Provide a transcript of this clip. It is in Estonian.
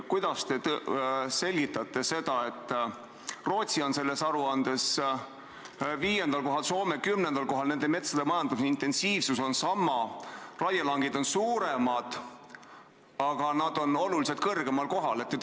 Kuidas te selgitate seda, et Rootsi on selles aruandes 5. kohal, Soome 10. kohal, nende metsade majandamise intensiivsus on sama, raielangid on suuremad, aga nad on oluliselt kõrgemal kohal?